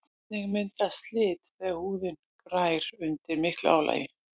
einnig myndast slit þegar húðin grær undir miklu álagi